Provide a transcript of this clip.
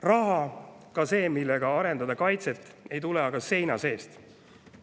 Raha, ka see, millega arendada kaitset, ei tule aga seina seest.